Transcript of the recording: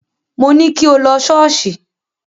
Mo ní kí o lọ ṣọ́ọ̀ṣì.